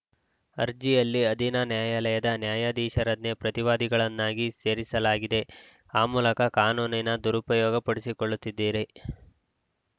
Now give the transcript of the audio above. ಅರ್ಜಿಯಲ್ಲಿ ಅಧೀನ ನ್ಯಾಯಾಲಯದ ನ್ಯಾಯಾಧೀಶರನ್ನೇ ಪ್ರತಿವಾದಿಗಳನ್ನಾಗಿ ಸೇರಿಸಲಾಗಿದೆ ಆ ಮೂಲಕ ಕಾನೂನಿನ ದುರುಪಯೋಗ ಪಡಿಸಿಕೊಳ್ಳುತ್ತಿದ್ದೀರಿ